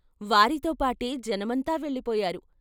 వారితోపాటే జనమంతా వెళ్ళిపోయారు.